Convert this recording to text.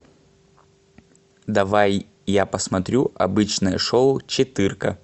давай я посмотрю обычное шоу четырка